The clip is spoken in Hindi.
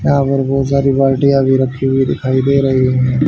यहां पर बहोत सारी बाल्टिया भी रखी हुई दिखाई दे रही है।